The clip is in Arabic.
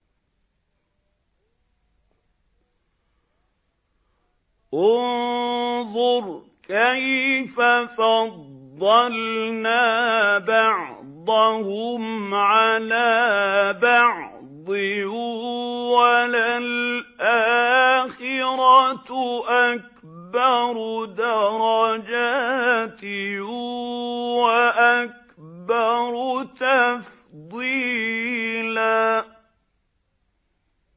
انظُرْ كَيْفَ فَضَّلْنَا بَعْضَهُمْ عَلَىٰ بَعْضٍ ۚ وَلَلْآخِرَةُ أَكْبَرُ دَرَجَاتٍ وَأَكْبَرُ تَفْضِيلًا